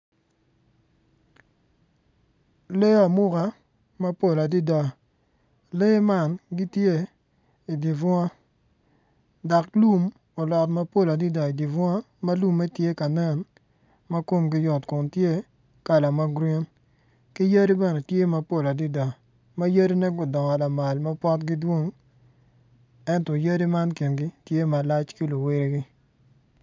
Lee amuka mapol adada lee man gitye idye bunga dok lum olot mapol adada idye bunga ma lumme tye ka nen komgi yot kun tye kala ma grin ki yadi bene tye mapol adada ma yadine gudongo lamal ma potgi dwong ento yadi man gingi tye malac ki luwotgi.